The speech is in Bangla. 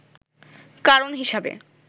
কারণ হিসাবে